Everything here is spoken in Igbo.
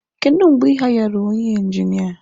Kedu mgbe ị hayarụ onye injinia?